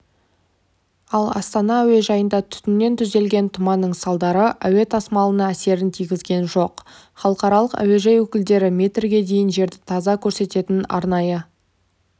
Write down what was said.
ал астана әуежайында түтіннен түзілген тұманның салдары әуе тасымалына әсерін тигізген жоқ халықаралық әуежай өкілдері метрге дейін жерді таза көрсететін арнайы